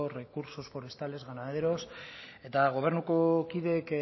recursos forestales ganaderos eta gobernuko kideek